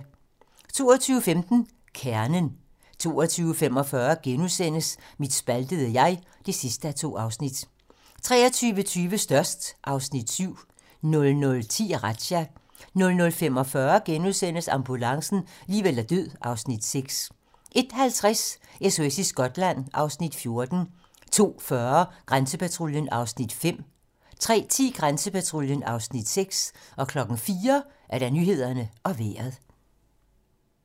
22:15: Kernen 22:45: Mit spaltede jeg (2:2)* 23:20: Størst (Afs. 7) 00:10: Razzia 00:45: Ambulancen - liv eller død (Afs. 6)* 01:50: SOS i Skotland (Afs. 14) 02:40: Grænsepatruljen (Afs. 5) 03:10: Grænsepatruljen (Afs. 6) 04:00: Nyhederne og Vejret